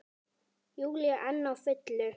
Júlía enn á fullu.